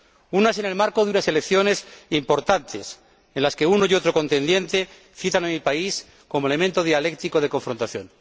Unas en el marco de unas elecciones importantes, en las que uno y otro contendiente citan a mi país como elemento dialéctico de confrontación.